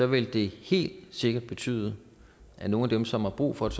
ville det helt sikkert betyde at nogle af dem som har brug for et